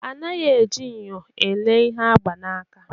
Anaghị eji nyo elee ihe agba n'aka